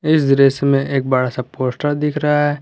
इस दृश्य में एक बड़ा सा पोस्टर दिख रहा है।